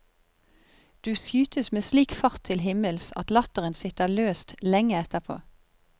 Du skytes med slik fart til himmels at latteren sitter løst lenge etterpå.